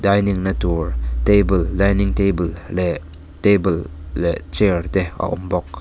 dining na tur table dining table leh table leh chair te a awm bawk.